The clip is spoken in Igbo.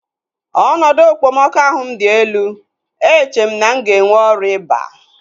Ọnọdụ okpomọkụ ahụ m dị elu. Eche m na m ga-enwe ọrịa ịba